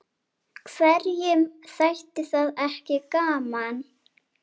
Hverjum þætti það ekki gaman?